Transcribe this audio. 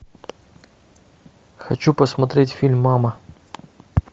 хочу посмотреть фильм мама